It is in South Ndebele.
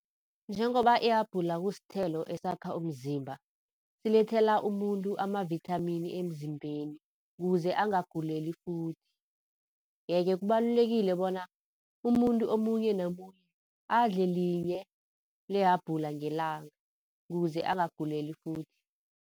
Njengoba ihabhula kusithelo esakha umzimba, silethela umuntu ama-vithamini emzimbeni, kuze angaguleli futhi. Yeke kubalulekile bona umuntu omunye nomunye adle linye lehabhula ngelanga kuze angaguleli futhi.